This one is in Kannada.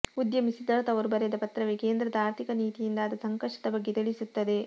ಉದ್ಯಮಿ ಸಿದ್ಧಾರ್ಥ ಅವರು ಬರೆದ ಪತ್ರವೇ ಕೇಂದ್ರದ ಆರ್ಥಿಕ ನೀತಿಯಿಂದ ಆದ ಸಂಕಷ್ಟದ ಬಗ್ಗೆ ತಿಳಿಸುತ್ತದೆ